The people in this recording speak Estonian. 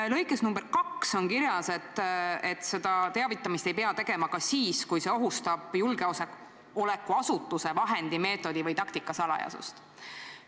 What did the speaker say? Aga lõikes nr 2 on kirjas, et seda teavitamist ei pea tegema ka siis, kui see ohustab julgeolekuasutuse vahendi, meetodi või taktika salajasust.